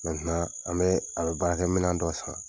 an bɛ a bɛ baarakɛminɛ dɔ san.